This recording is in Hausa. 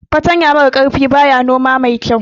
Fartanya mara kaifi baya noma mai kyau